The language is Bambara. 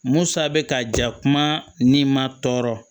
Musa bɛ ka ja kuma ni ma tɔɔrɔ